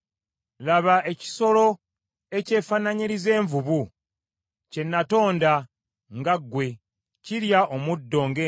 “Laba ekisolo ekyefaananyiriza ng’envubu kye natonda nga ggwe, erya omuddo ng’ente,